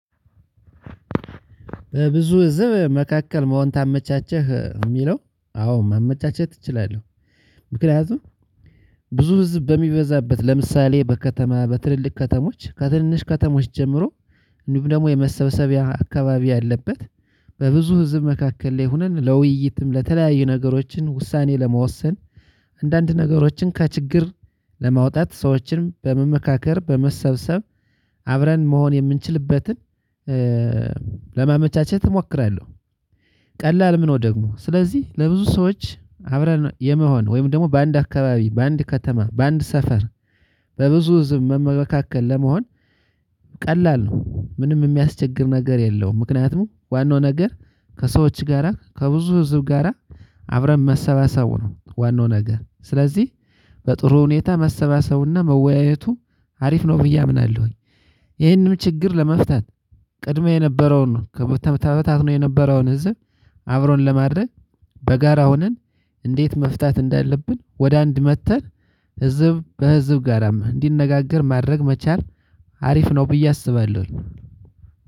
በብዙ ህዝብ መካከል መሆን ታመቻቸህ ለሚለው አዎ ማመቻቸት እችላለሁ። ምክንያቱም ብዙ ህዝብ በሚበዛበት ለምሳሌ በከተማ በትልልቅ ከተሞች ከትን ንሽ ከተሞች ጀምሮ እንዲሁም ደግሞ የመሰብሰቢያ አካባቢ ያለበት በብዙ ህዝብ መካከል ላይ ሆነን ለውይይትም ለተለያዩ ነገሮችን ውሳኔ ለመወሰን አንዳንድ ነገሮችን ከ ችግር ለማውጣት ሰዎችን በመመካከር በመሰብሰብ አብረን መሆን የምንችልበትን ለማመቻቸት እሞክራለሁ። ቀላልም ነው። ደግሞ ስለዚህ ለብዙ ሰዎች አብረን የመሆን ወይም ደግሞ በአንድ አካባቢ በአንድ ከተማ በአንድ ሰፈር በብዙ ህዝብ መካከል ለመሆን ቀላል ነው። ምንም የሚያስቸግር ነገር የለውም ምክንያቱም ዋናው ነገር ከሰዎች ጋራ ከብዙ ህዝብ ጋራ አብረን መሰባሰቡ ነው። ዋናው ነገር ስለዚህ በጥሩ ሁኔታ መሰባሰቡና መወያየቱ አሪፍ ነው ብዬ አምናለሁ። ይህንን ችግር ለመፍታት ቀድሞ የነበረውን ተበታትኖ የነበረውን ህዝብ አብሮን ለማድረግ በጋራ ሆነን። እንዴት መፍታት እንዳለብን ወደ አንድ መጥተን ህዝብ ከህዝብ ጋራ እንዲነጋገር ማድረግ መቻል አሪፍ ነው ብዬ አስባለሁ።